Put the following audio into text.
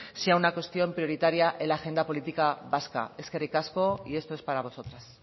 sea una cuestión prioritaria en la agenda política vasca eskerrik asko y esto es para vosotras